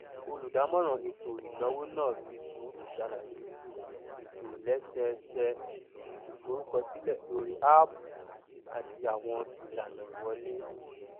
olùdamọràn ètò ìnáwó náà fi sùúrù ṣàlàyè ìtòlẹsẹẹsẹ ìforúkọsílẹ lórí áàpù àti àwọn ìlànà ìwọlé